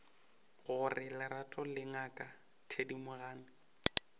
gore lerato le ngaka thedimogane